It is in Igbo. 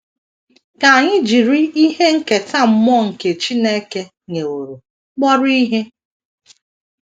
Ka anyị jiri ihe nketa mmụọ nke Chineke nyeworo kpọrọ ihe.